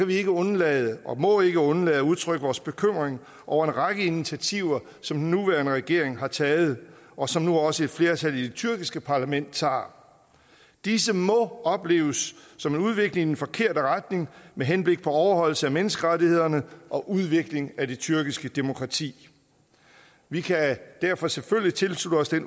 vi ikke undlade og må ikke undlade at udtrykke vores bekymring over en række initiativer som den nuværende regering har taget og som nu også et flertal i det tyrkiske parlament tager disse må opleves som en udvikling i den forkerte retning med henblik på overholdelse af menneskerettighederne og udvikling af det tyrkiske demokrati vi kan derfor selvfølgelig tilslutte os det